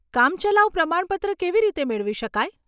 કામચલાઉ પ્રમાણપત્ર કેવી રીતે મેળવી શકાય?